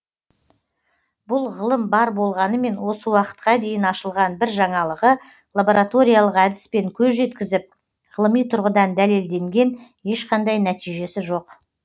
бұл ғылым бар болғанымен осы уақытқа дейін ашылған бір жаңалығы лабораториялық әдіспен көз жеткізіп ғылыми тұрғыдан дәлелденген ешқандай нәтижесі жоқ